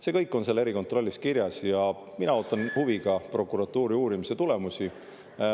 See kõik on seal erikontrollis kirjas ja mina ootan huviga prokuratuuri uurimise tulemusi.